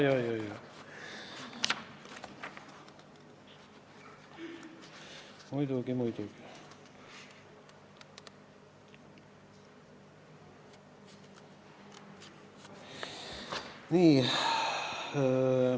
Õige, muidugi-muidugi!